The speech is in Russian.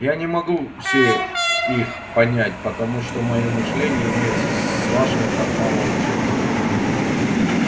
я не могу все их понять потому что моё мышление имеет с вашим так мало общего